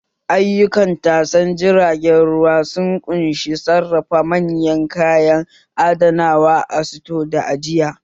Ayukan tashar jiragen ruwa sun ƙunshi sarrafa manyan kaya, adanawa a sito da ajiya